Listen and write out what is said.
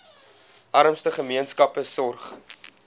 armste gemeenskappe sorg